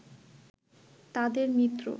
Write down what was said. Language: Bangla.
তাদের মিত্র